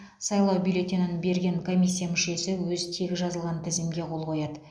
сайлау бюллетенін берген комиссия мүшесі өз тегі жазылған тізімге қол қояды